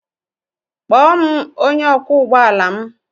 Kpọọ m onye ọkwọ ụgbọ ala m.